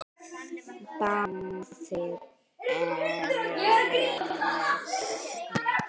Báðir eru vel lesnir.